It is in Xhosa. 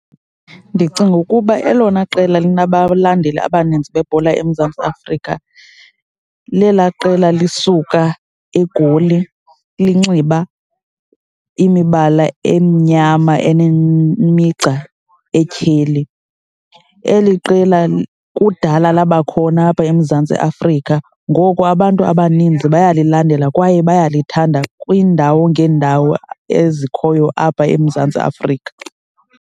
Ndicinga ukuba elona qela linabalandeli abaninzi bebhola eMzantsi Afrika lelaa qela lisuka egoli linxiba imibala emnyama enemigca etyheli. Eli qela kudala labakhona apha eMzantsi Afrika, ngoko abantu abaninzi baya lilandela kwaye bayalithanda kwiindawo ngeendawo ezikhoyo apha eMzantsi Afrika.